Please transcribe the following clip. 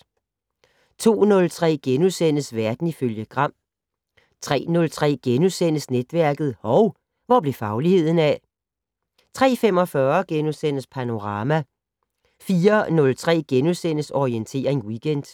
02:03: Verden ifølge Gram * 03:03: Netværket: Hov, hvor blev fagligheden af? * 03:45: Panorama * 04:03: Orientering Weekend *